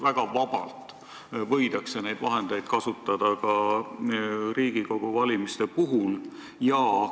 Väga vabalt võidakse avalikke vahendeid ju kasutada ka Riigikogu valimiste puhul.